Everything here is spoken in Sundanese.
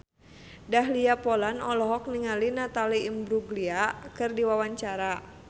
Dahlia Poland olohok ningali Natalie Imbruglia keur diwawancara